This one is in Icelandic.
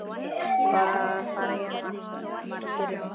Hvað fara hér margir um?